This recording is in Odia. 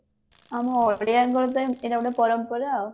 ଆମ ଓଡିଆଙ୍କ ପାଇଁ ଏଇଟା ଗୋଟେ ପରମ୍ପରା ଆଉ